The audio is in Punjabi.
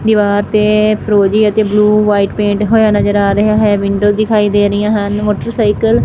ਦਿਵਾਰ ਤੇ ਫਿਰੋਜ਼ੀ ਅਤੇ ਬਲੂ ਵ੍ਹਾਈਟ ਪੇਂਟ ਹੋਇਆ ਨਜ਼ਰ ਆ ਰਿਹਾ ਹੈ ਵਿੰਡੋ ਦਿਖਾਈ ਦੇ ਰਹੀਆਂ ਹਨ ਮੋਟਰਸਾਈਕਲ --